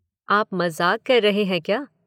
आप मज़ाक कर रहे हैं क्या